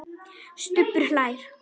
Stubbur hlær.